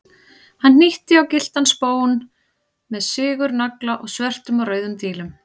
Hann hnýtti á gylltan spón með sigurnagla og svörtum og rauðum dílum.